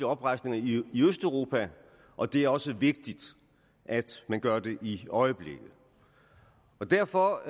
oprejsninger i østeuropa og det er også vigtigt at man gør det i øjeblikket derfor